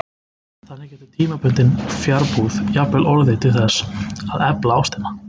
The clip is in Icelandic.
Þannig getur tímabundin fjarbúð jafnvel orðið til þess að efla ástina.